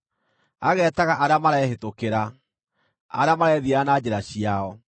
ageetaga arĩa marehĩtũkĩra, arĩa marethiĩra na njĩra ciao.